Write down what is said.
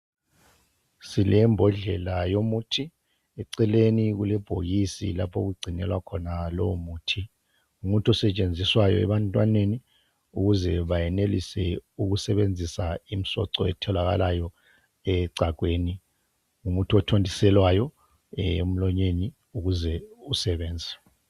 Silembodlela yomuthi. Eceleni kulebhokisi, lapho okugcinelwa khona lowomuthi. Ngumuthi osetshenziswayo ebantwaneni, ukuze bayenelise ukusebenzisa imisoco etholakalayo echagweni. Ngumuthi othontiselwayo emlonyeni, ukuze usebenze.